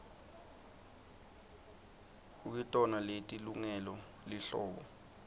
kukitona leti lungele lihlobo